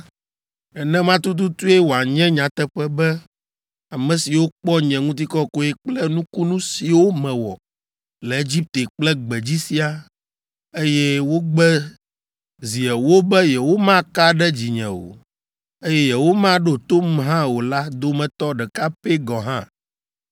nenema tututue wòanye nyateƒe, be ame siwo kpɔ nye ŋutikɔkɔe kple nukunu siwo mewɔ le Egipte kple gbedzi siaa, eye wogbe zi ewo be yewomaka ɖe dzinye o, eye yewomaɖo tom hã o la dometɔ ɖeka pɛ gɔ̃ hã